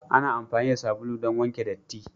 Ana amfani da sabulu don wanke datti.